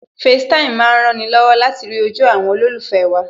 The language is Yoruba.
FaceTime má ń rani lọ́wọ́ láti rí ojú àwọn olólùfẹ́ wa